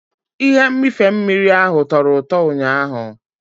Ihe mmịfe mmiri ahụ tọro ụtọ ụnyaahụ.